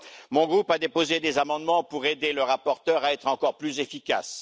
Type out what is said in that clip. Mon groupe a déposé des amendements pour aider le rapporteur à être encore plus efficace.